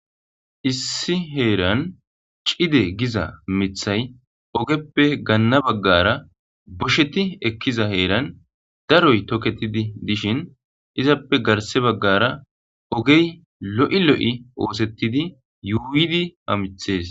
issi heeran cide giza mithay ogeppe ganna baggara bosheti ekkiza heeran daroy toketidi dishin izappe garse baggara ogey lo'i lo'i oosettidi yuuydi hamithees